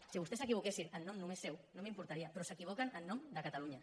si vostès s’equivoquessin en nom només seu no m’importaria però s’equivoquen en nom de catalunya